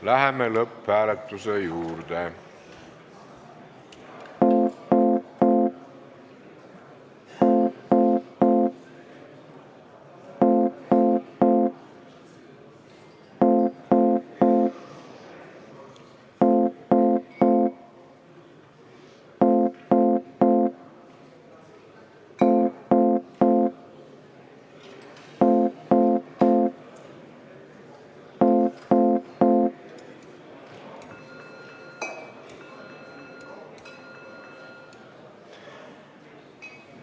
Läheme lõpphääletuse juurde.